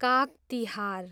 Kag Tihar